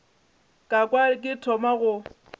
ka kwa ke thoma go